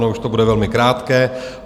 Ono už to bude velmi krátké.